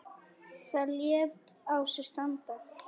Það lét á sér standa.